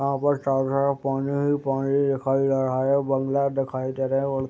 यहाँ पर चारो तरफ पानी ही पानी दिखाई दे रहा है बंगला दिखाई दे रहे है और --